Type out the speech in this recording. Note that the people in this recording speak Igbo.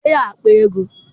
Dee ya akpa ego!